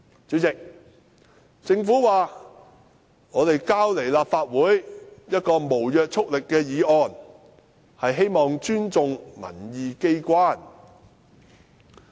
主席，政府表示向立法會提交一項無約束力議案，是希望尊重民意機關。